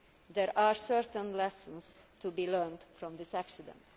There are certain lessons to be learned from this accident.